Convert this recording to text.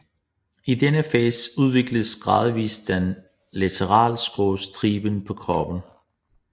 I denne fase udvikles gradvist den laterale skrå stribe på kroppen